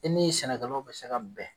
E ni sɛnɛkɛlaw be se ka bɛn